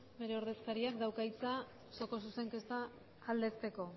bere ordezkariak dauka hitza osoko zuzenketa aldezteko